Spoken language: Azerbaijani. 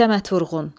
Səməd Vurğun.